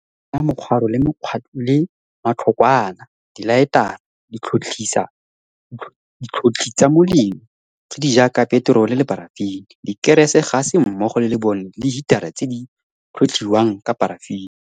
Beela kgakala mokgwaro le matlhokwana, dilaetara, ditlhotlhitsa molelo tse di jaaka peterole le parafene, dikerese, gase mmogo le lebone le hitara tse di tlhotlhiwang ka parafene.